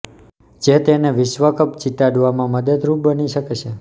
જે તેને વિશ્વ કપ જીતાડવામાં મદદરૂપ બની શકે છે